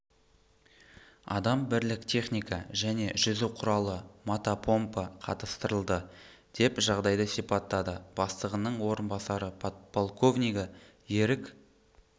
адам бірлік техника және жүзу құралы мотопомпа қатыстырылды деп жағдайды сипаттады бастығының орынбасары подполковнигі ерік